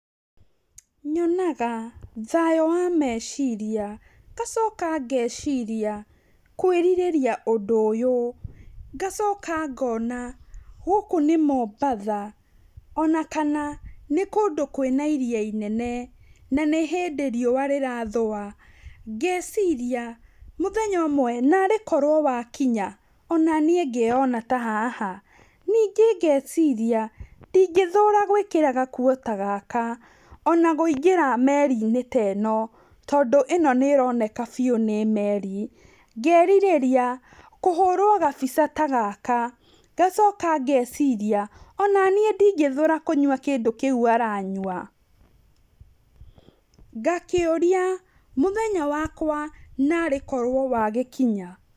Nyonaga thayũ wa meciria ngacoka ngeciria kwĩrirĩria ũndũ ũyũ, ngacoka ngona gũkũ nĩ Mombatha ona kana nĩ kũndũ kwĩna iria inene, na nĩ hĩndĩ riũa rĩrathũa, ngeciria mũthenya ũmwe narĩkorwo wakinya onanĩ ngeyona ta haha, ningĩ ngeciria ndingĩthũra gwĩkĩra gakuo ta gaka ona kũingĩra meri-inĩ ta ĩno, tondũ ĩno nĩ ĩroneka biu nĩ meri, ngerirĩria kũhũrwo gabica ta gaka, ngacoka ngeciria onaniĩ ndĩngĩthũra kũnywa kĩndũ kĩu aranywa, ngakĩuria mũthenya wakwa narĩkorwo wagĩkinya.